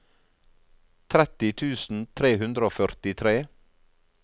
tretti tusen tre hundre og førtitre